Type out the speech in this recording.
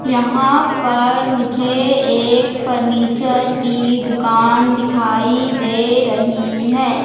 यहां पर मुझे एक फर्नीचर की दुकान दिखाई दे रही है।